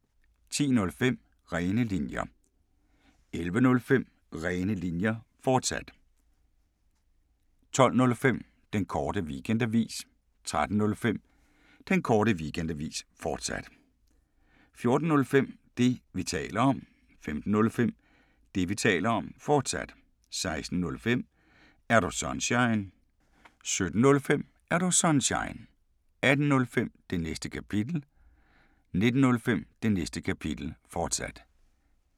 10:05: Rene Linjer 11:05: Rene Linjer, fortsat 12:05: Den Korte Weekendavis 13:05: Den Korte Weekendavis, fortsat 14:05: Det, vi taler om 15:05: Det, vi taler om, fortsat 16:05: Er Du Sunshine? 17:05: Er Du Sunshine? 18:05: Det Næste Kapitel 19:05: Det Næste Kapitel, fortsat